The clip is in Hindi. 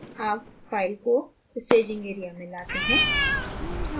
add file को staging area में लाते हैं